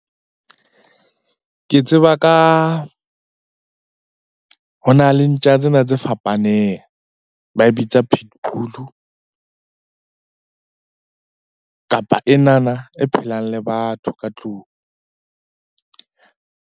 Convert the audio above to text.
Ke tseba ka, ho na le ntja tsena tse fapaneng ba e bitsa pitbull-u. Kapa enana e phelang le batho ka tlung.